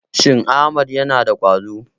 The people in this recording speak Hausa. Shin Ahmad yana da ƙwazo.